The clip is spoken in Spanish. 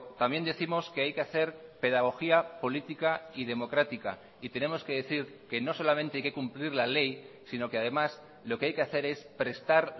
también décimos que hay que hacer pedagogía política y democrática y tenemos que decir que no solamente hay que cumplir la ley sino que además lo que hay que hacer es prestar